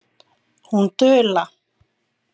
Hún dula.